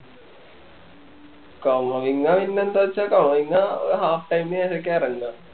കോവിങ്ങാ പിന്നെ എന്താച്ചാ കോവിങ്ങാ അഹ് half time ൽ ആരിക്കും എറങ്ങുക